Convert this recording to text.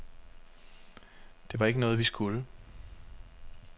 Det var jo ikke noget, vi skulle.